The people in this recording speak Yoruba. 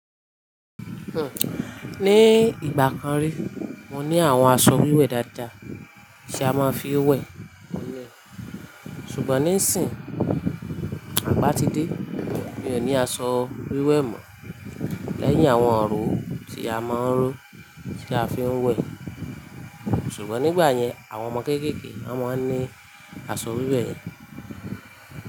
Hmm. Ni ìgbà kan rí, mo ní àwọn aṣọ wíwẹ̀ dáadáa tí a máa ń fi ń wẹ̀ telẹ̀. Ṣùgbọ́n níìsín, àgbá ti dé, mi ò ní aṣọ wíwẹ̀ mọ́. Lẹ́yìn àwọn ọ̀ró tí a máa ń rò, tí a fi ń wẹ̀. Ṣùgbọ́n nígbà yẹn, àwọn ọmọ kéékèèké won máa ń ní aṣọ wíwẹ̀ yẹn.